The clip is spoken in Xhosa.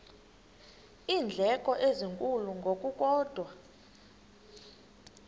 iindleko ezinkulu ngokukodwa